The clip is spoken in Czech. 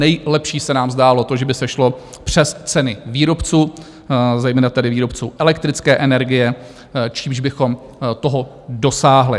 Nejlepší se nám zdálo to, že by se šlo přes ceny výrobců, zejména tedy výrobců elektrické energie, čímž bychom toho dosáhli.